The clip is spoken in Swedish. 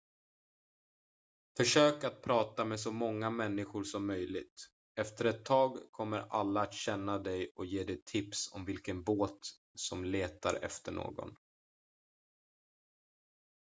försök att prata med så många människor som möjligt efter ett tag kommer alla att känna dig och ge dig tips om vilken båt som letar efter någon